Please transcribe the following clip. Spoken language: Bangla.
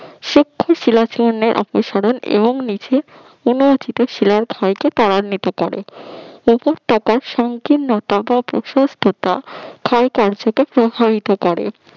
সূক্ষ্ম শিলা চূর্ণের অপসারণ এবং নিচে পড়ে নিতে পারে অনর্থিত শিলার ক্ষয়কে ত্বরান্বিত করে উপত্যকার সংকীর্ণতা বা প্রশস্ততা ক্ষয় কার্যকে প্রভাবিত করে